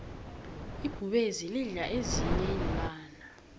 ibhubezi lidla ezinyei iinlwanyana